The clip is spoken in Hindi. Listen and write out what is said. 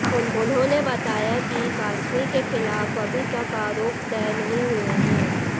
उन्होंने बताया कि कासमी के खिलाफ अभी तक आरोप तय नहीं हुए हैं